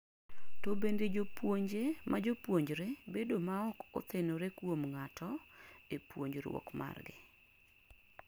to bende jopuonje majopuonjre bedo maok othenore kuom ng'ato e puonjruok margi?